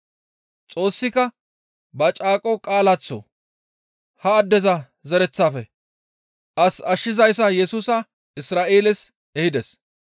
Xoossika ba caaqo qaalaaththo ha addeza zereththafe as ashshizayssa Yesusa Isra7eeles ehides.